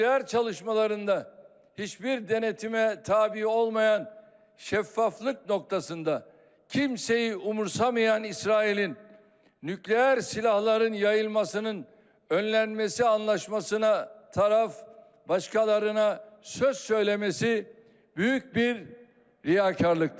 Nüklər çalışmalarında heç bir denetimə tabi olmayan şəffaflık noktasında kimseyi umursamayan İsrailin nüklər silahların yayılmasının önlenmesi anlaşmasına taraf başkalarına söz söylemesi büyük bir riyakarlıktır.